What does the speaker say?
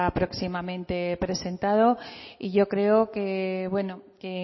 próximamente presentado y yo creo que